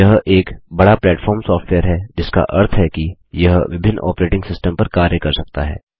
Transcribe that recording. यह एक बड़ा प्लेटफॉर्म सॉफ्टवेयर है जिसका अर्थ है कि यह विभिन्न आपरेटिंग सिस्टम पर कार्य कर सकता है